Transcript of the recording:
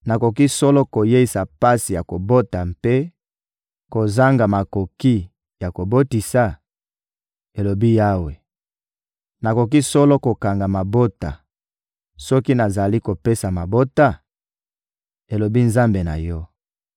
Nakoki solo koyeisa pasi ya kobota mpe kozanga makoki ya kobotisa?» Elobi Yawe. «Nakoki solo kokanga mabota soki nazali kopesa mabota?» elobi Nzambe na yo.